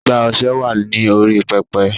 Igbá ọṣẹ.wa ní orí "Pẹpẹ".